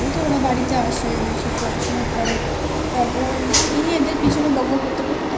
তো ওরা বাড়িতে আসে এসে পড়াশোনা করে তারপর এদের পিছনে বকবক করতে করতে Time কেটে যায়